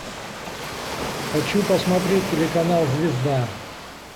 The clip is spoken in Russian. хочу посмотреть телеканал звезда